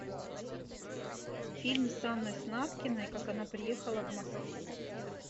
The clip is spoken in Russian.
фильм с анной снаткиной как она приехала в москву